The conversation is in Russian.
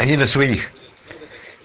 один из своих